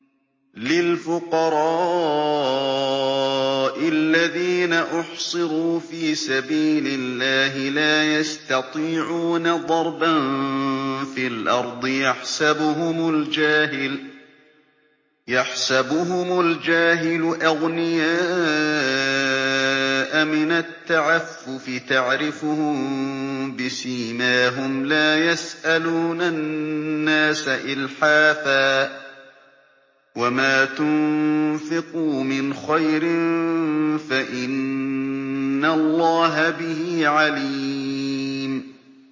لِلْفُقَرَاءِ الَّذِينَ أُحْصِرُوا فِي سَبِيلِ اللَّهِ لَا يَسْتَطِيعُونَ ضَرْبًا فِي الْأَرْضِ يَحْسَبُهُمُ الْجَاهِلُ أَغْنِيَاءَ مِنَ التَّعَفُّفِ تَعْرِفُهُم بِسِيمَاهُمْ لَا يَسْأَلُونَ النَّاسَ إِلْحَافًا ۗ وَمَا تُنفِقُوا مِنْ خَيْرٍ فَإِنَّ اللَّهَ بِهِ عَلِيمٌ